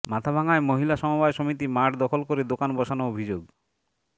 মাথাভাঙ্গায় মহিলা সমবায় সমিতি মাঠ দখল করে দোকান বসানো অভিযোগ